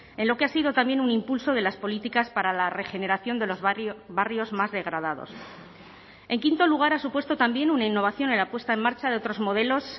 en lo que ha sido también un impulso de las políticas para la regeneración de los barrios más degradados en quinto lugar ha supuesto también una innovación en la puesta en marcha de otros modelos